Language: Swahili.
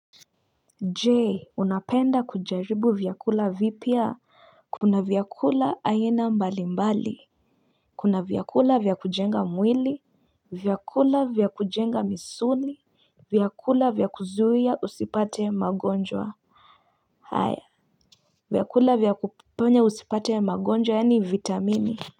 Je unapenda kujaribu vyakula vipya Kuna vyakula aina mbali mbali Kuna vyakula vya kujenga mwili vyakula vya kujenga misuli vyakula vya kuzuhia usipate magonjwa haya vyakula vya kufanya usipate magonjwa yani vitamini.